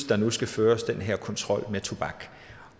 der nu skal føres den her kontrol med tobak